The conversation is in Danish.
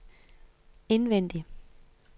indvendig